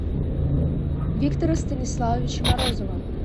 виктора станиславовича морозова